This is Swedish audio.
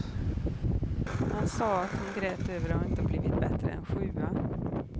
Man sade att hon grät över att inte blivit bättre än sjua.